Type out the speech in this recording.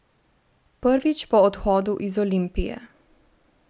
Prvič po odhodu iz Olimpije.